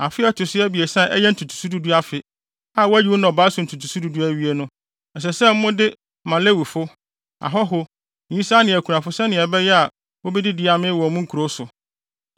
Afe a ɛto so abiɛsa a ɛyɛ ntotoso du du afe a woayi wo nnɔbae so ntotoso du du awie no ɛsɛ sɛ mode ma Lewifo, ahɔho, nyisaa ne akunafo sɛnea ɛbɛyɛ a wobedidi amee wɔ mo nkurow so.